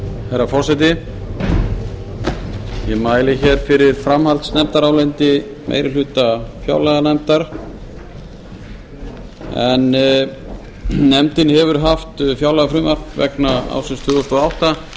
herra forseti ég mæli hér fyrir framhaldsnefndaráliti meiri hluta fjárlaganefndar en nefna hefur haft fjárlagafrumvarp vegna ársins tvö þúsund og átta